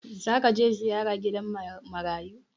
Za ka je ziyara gidan marayu?